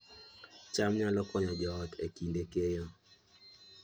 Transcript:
cham nyalo konyo joot e kinde keyo